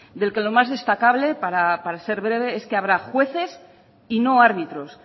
del que lo más destacable para ser breve es que habrá jueces y no árbitros